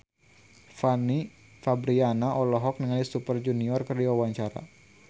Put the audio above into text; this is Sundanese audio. Fanny Fabriana olohok ningali Super Junior keur diwawancara